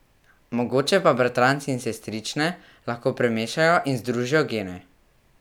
Mogoče pa bratranci in sestrične lahko premešajo in združijo gene.